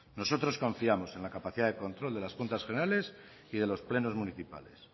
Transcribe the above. nosotros confiamos en la capacidad de control de las juntas generales y de los plenos municipales